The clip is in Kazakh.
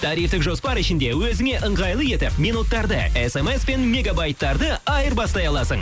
тарифтік жоспар ішінде өзіңе ыңғайлы етіп минуттарды смспен мегабайттарды айырбастай аласың